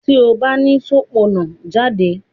ti o ba ni Sopona jade!